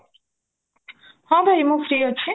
ହଁ ଭାଇ ମୂନ free ଅଛି